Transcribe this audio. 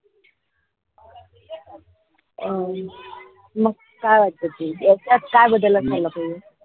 अं मग काय वाटते ती याच्यात काय बदल असायला पाहिजे.